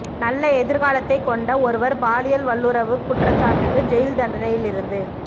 நல்ல எதிர்காலத்தைக் கொண்ட ஒருவர் பாலியல் வல்லுறவுக் குற்றச்சாட்டுக்கு ஜெயில் தண்டனையிலிருந்து